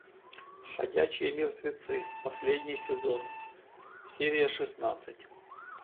ходячие мертвецы последний сезон серия шестнадцать